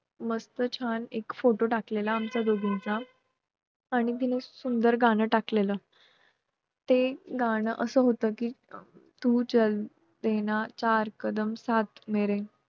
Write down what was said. काही गावात पालखीने खुणा काढणे हा कार्यक्रम असतो ,यामध्ये गावचा गुरव आदल्या रात्री एक नारळ सहाणे समोर पटांगणात जमिनीत लपवून ठेवतो. तो नारळ पालखी शोधून काढते. हा कार्यक्रम देखील पाहण्यासारखा असतो.